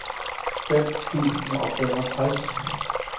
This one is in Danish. fem tusind og femogtres